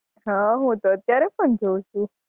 હાં હું તો અત્યારે પણ જોઉં છું.